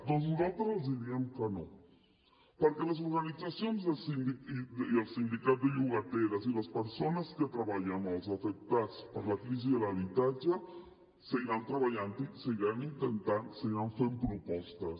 doncs nosaltres els diem que no perquè les organitzacions i el sindicat de llogateres i les persones que treballen amb els afectats per la crisi de l’habitatge seguiran treballant hi ho seguiran intentant seguiran fent propostes